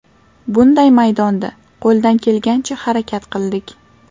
Bunday maydonda qo‘ldan kelgancha harakat qildik.